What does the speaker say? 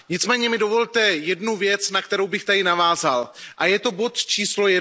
Nicméně mi dovolte jednu věc, na kterou bych tady navázal, a je to bod číslo